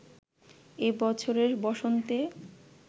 এ বছরের বসন্তে